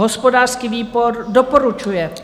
Hospodářský výbor doporučuje.